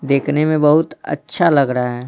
देखने में बहुत अच्छा लग रहा है।